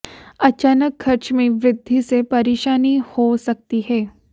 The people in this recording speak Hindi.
अचानक खर्च में वृद्धि से परेशानी हो सकती है